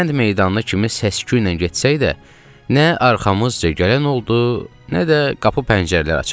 Kənd meydanına kimi səsküylə getsək də, nə arxamızca gələn oldu, nə də qapı pəncərələr açıldı.